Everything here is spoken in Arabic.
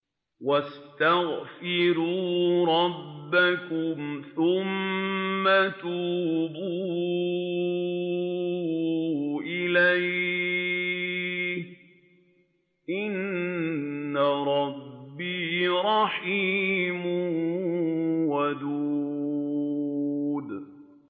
وَاسْتَغْفِرُوا رَبَّكُمْ ثُمَّ تُوبُوا إِلَيْهِ ۚ إِنَّ رَبِّي رَحِيمٌ وَدُودٌ